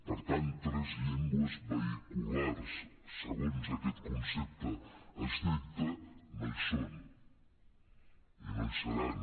per tant tres llengües vehiculars segons aquest concepte estricte no hi són i no hi seran